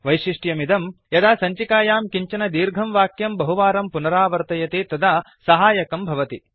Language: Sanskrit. वैशिष्ट्यमिदं यदा सञ्चिकायां किञ्चन दीर्घं वाक्यं बहुवारं पुनरावर्तयति तदा सहायकं भवति